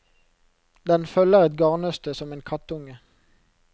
Den følger et garnnøste som en kattunge.